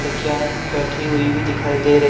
वे गाये बैठी हुई भी दिखाई दे रही--